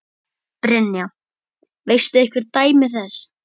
Brynja: Veistu einhver dæmi þess?